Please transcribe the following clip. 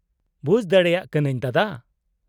-ᱵᱩᱡᱽ ᱫᱟᱲᱮᱭᱟᱜ ᱠᱟᱱᱟᱹᱧ ᱫᱟᱫᱟ ᱾